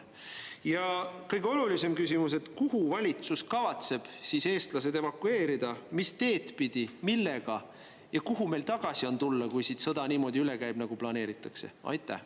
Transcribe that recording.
Ja kõige olulisem küsimus: kuhu valitsus kavatseb siis eestlased evakueerida, mis teed pidi, millega, ja kuhu meil tagasi on tulla, kui sõda siit niimoodi üle käib, nagu planeeritakse?